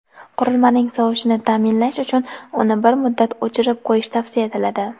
qurilmaning sovishini ta’minlash uchun uni bir muddat o‘chirib qo‘yish tavsiya etiladi.